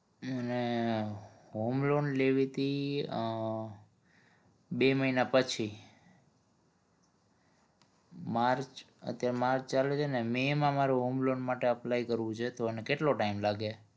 અને homeloan લેવીતી બે મહિના પછી માર્ચ અત્યારે માર્ચ ચાલે છે ને મે માં મારું homeloan માટે apply કરવું છે તો અને કેટલો time લાગે?